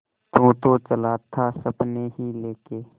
तू तो चला था सपने ही लेके